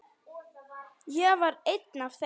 Ég var einn af þeim.